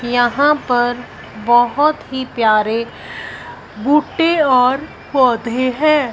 यहां पर बहोत ही प्यारे भुट्टे और पौधे हैं।